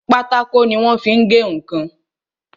Pátákó tí wọ́n fi ń gé ǹkan